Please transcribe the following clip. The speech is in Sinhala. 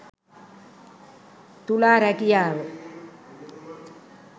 තුලා රැකියාව